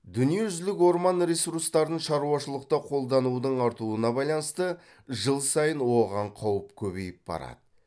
дүниежүзілік орман ресурстарын шаруашылықта қолданудың артуына байланысты жыл сайын оған қауіп көбейіп барады